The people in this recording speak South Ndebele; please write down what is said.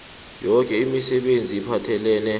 yoke imisebenzi ephathelene